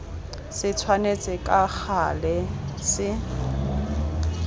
se tshwanetse ka gale se